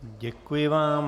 Děkuji vám.